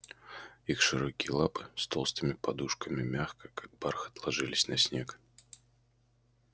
их широкие лапы с толстыми подушками мягко как бархат ложились на снег